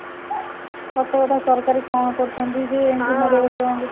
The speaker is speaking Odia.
ସତ କଥା ସରକାର କଣ କରୁଛନ୍ତି ଯେ ଏମିତି ହାଡ ଗୋଡ ଭାଙ୍ଗୁଛି